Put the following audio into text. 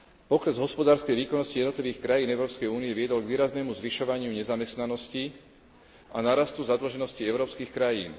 Pokles hospodárskej výkonnosti v jednotlivých krajinách Európskej únie viedol k výraznému zvyšovaniu nezamestnanosti a nárastu zadlženosti európskych krajín.